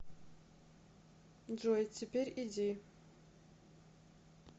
джой теперь иди